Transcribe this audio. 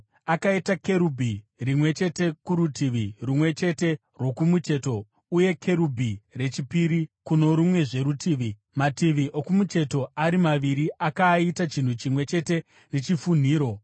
Akaita kerubhi rimwe chete kurutivi rumwe chete rwokumucheto uye kerubhi rechipiri kuno rumwezve rutivi, mativi okumucheto ari maviri akaaita chinhu chimwe chete nechifunhiro.